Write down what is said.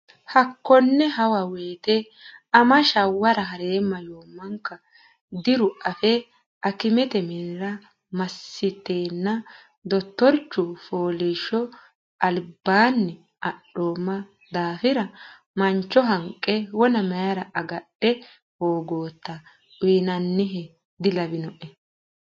Hakone hawa woyte ama shawwara ha reemma yomanka diru afe akimete minira masitenna dottorichu fooliisho alibbaanni adhoomma daafira mancho hanqqe wona mayra agadha hogota uynannieha dilawinoe.